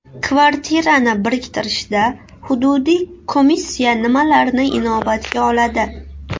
Kvartirani biriktirishda hududiy komissiya nimalarni inobatga oladi?